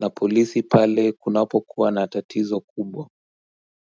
na polisi pale kunapo kuwa na tatizo kubwa.